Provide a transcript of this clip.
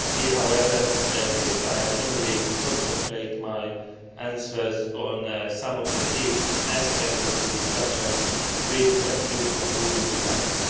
However, at this time, let me concentrate my answers on some of the key aspects of the discussion with a few concluding remarks.